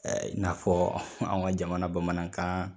Ɛ'in'a fɔ anw ka jamana bamanankan